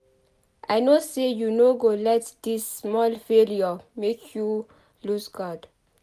I know sey you no go let dis small failure make you loose guard.